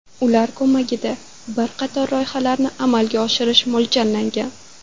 Ular ko‘magida bir qator loyihalarni amalga oshirish mo‘ljallangan.